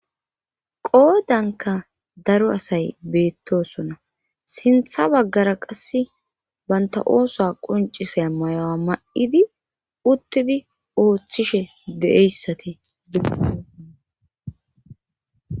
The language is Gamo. Qoodanka daro asay beettosona sintha baggara qass banta ooso qoncisay mayo7a ma7idi uttidi ooththishe de7eyssati di